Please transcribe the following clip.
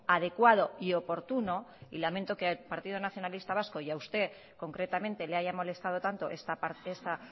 adecuado y oportuno y lamento que al partido nacionalista vasco y a usted concretamente le haya molestado tanto esta parte está